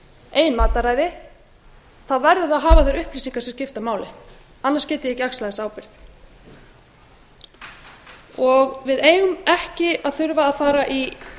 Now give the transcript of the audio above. eigin mataræði þá verður það að hafa þær upplýsingar sem skipta máli annars get ég ekki axlað þessa ábyrgð við eigum ekki að þurfa að fara í